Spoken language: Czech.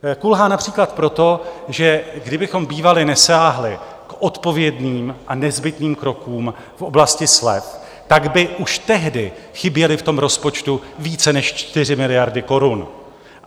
Kulhá například proto, že kdybychom bývali nesáhli k odpovědným a nezbytným krokům v oblasti slev, tak by už tehdy chyběly v tom rozpočtu více než 4 miliardy korun.